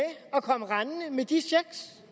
at komme rendende med de checks